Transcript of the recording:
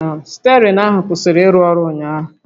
Stierịng ahụ kwụsịrị ịrụ ọrụ ụnyaahụ